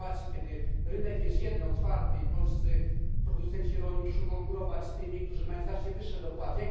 W sytuacji, kiedy rynek jest jeden, otwarty, polscy producenci rolni muszą konkurować z tymi, którzy mają znacznie wyższe dopłaty.